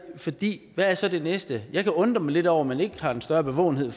fordi hvad er så det næste jeg kan undre mig lidt over at man ikke har en større bevågenhed